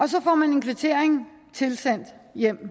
så får man en kvittering tilsendt